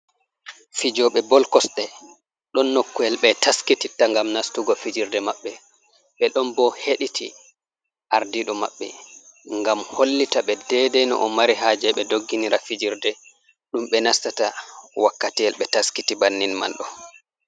Fijoɓe bol kosɗe, ɗon nokku'el ɓe taskititta ngam nastugo fijerde maɓɓe, ɓe ɗon bo heɗiti ardiɗo maɓɓe, ngam hollita ɓe dede nuo o mari haje ɓe dogginira fijerde ɗum ɓe nastata wakkatiel ɓe taskiti bannin man ɗo.